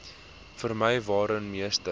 vermy waarin meeste